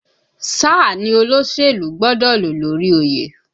Sáà ni olóṣèlú gbọ́dọ̀ ló lórí oyè!